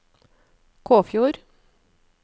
Kåfjord